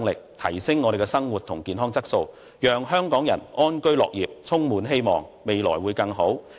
這一來，香港人的生活和健康質素便能得以改善，大家便能安居樂業，充滿希望，未來會更好。